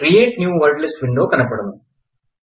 create new word list window కనపడను